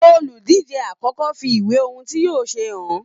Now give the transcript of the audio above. Oludije àkọ́kọ́ fi ìwé ohùn tí yóò ṣe hàn.